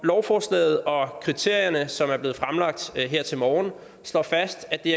lovforslaget og kriterierne som er blevet fremlagt her til morgen slår fast at det